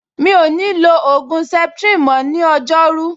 Mi ò ní lo ògùn septrin mọ́ ní ọjọ́rú